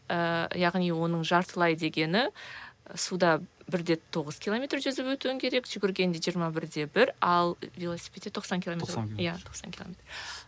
ііі яғни оның жартылай дегені суда бір де тоғыз километр жүзіп өтуің керек жүгіргенде жиырма бір де бір ал велосипедте тоқсан километр ме иә тоқсан километр